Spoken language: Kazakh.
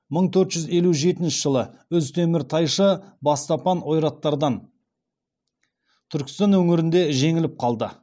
мың төрт жүз елу жетінші жылы үз темір тайшы бастапан ойраттардан түркістан өңірінде жеңіліп қалды